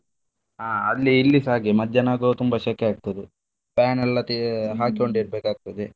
ಹಾ ಅಲ್ಲಿ ಇಲ್ಲಿಸಾ ಹಾಗೆ ಮಧ್ಯಾಹ್ನ ಆಗುವಾಗ ತುಂಬಾ ಶೆಕೆ ಆಗ್ತದೆ fan ಎಲ್ಲ ತೇ~ ಇರ್ಬೇಕಾಗ್ತದೆ.